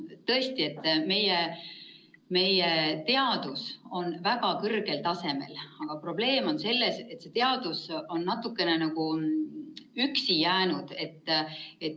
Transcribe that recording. Tõesti, meie teadus on väga kõrgel tasemel, aga probleem on selles, et teadus on natukene nagu üksi jäänud.